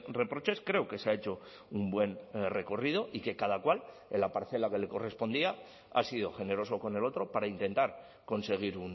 reproches creo que se ha hecho un buen recorrido y que cada cual en la parcela que le correspondía ha sido generoso con el otro para intentar conseguir